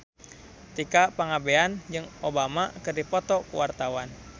Tika Pangabean jeung Obama keur dipoto ku wartawan